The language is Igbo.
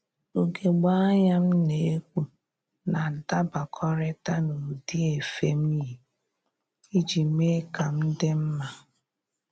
Ugegbe anya m na-ekpu na-adabakọrịta n'ụdị efe m yi iji mee ka m dị mma